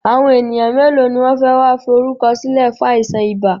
Àwọn ènìyàn mélòó ni wọn fẹ wá fi orúkọ sílẹ̀ fún àìsàn ibà?